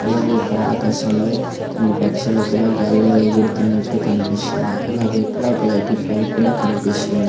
అలాగే ఇక్కడ ఆకాశం లో కొన్ని పక్షులు కూడా గ్యాలిలో ఎగురుతున్నట్టు కన్పిస్తున్నాయ్ అలాగే ఇక్కడ ఒక లైటి పోల్ కూడా కనిపిస్తుంది.